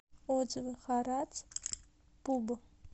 отзывы харатс пуб